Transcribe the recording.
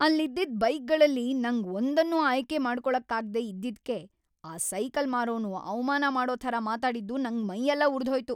ಅಲ್ಲಿದ್ದಿದ್ ಬೈಕ್ಗಳಲ್ಲಿ ನಂಗ್‌ ಒಂದನ್ನೂ ಆಯ್ಕೆ ಮಾಡ್ಕೊಳಕ್ಕಾಗ್ದೇ ಇದ್ದಿದ್ಕೆ ಆ ಸೈಕಲ್‌ ಮಾರೋನು ಅವಮಾನ ಮಾಡೋ ಥರ ಮಾತಾಡಿದ್ದು ನಂಗ್ ಮೈಯೆಲ್ಲ ಉರ್ದ್‌ಹೋಯ್ತು.